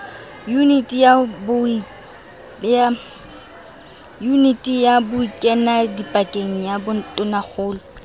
yuniti ya bokenadipakeng ya tonakgolo